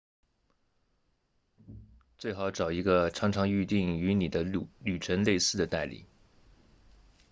最好找一个常常预订与你的旅程类似的代理